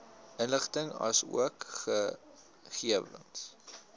inligting asook gegewens